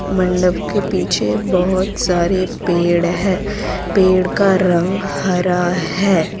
मंडप के पीछे बहोत सारे पेड़ है पेड़ का रंग हरा है।